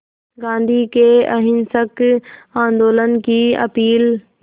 गांधी के अहिंसक आंदोलन की अपील